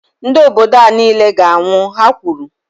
Ndị obodo a niile ga -anwụ, Ha kwuru